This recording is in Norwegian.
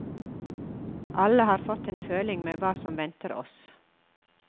Alle har fått en føling med hva som venter oss.